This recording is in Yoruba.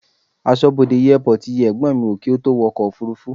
Aṣọ́bodè airport yẹ ẹ̀gbọ́n mi wò kí ó tó wo ọkọ̀ òfúrúfú.